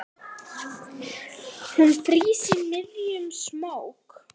Hún frýs í miðjum smók.